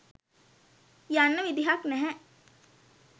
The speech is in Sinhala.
යන්න විදිහක් නෑ.